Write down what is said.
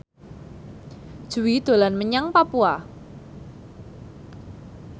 Jui dolan menyang Papua